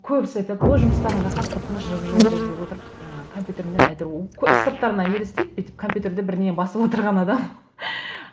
көбісі айтады о жұмыстарын рақат тып тыныш жып жылы жерде отырып жаңағы компьютермен әйтеуір сырттарына елестейді бүйтіп компьютерде бірдеңе басып отырған адам